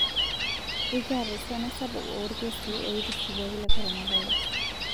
Ekiata esiana sapuk oolkeesi oitisipuaki le korona virus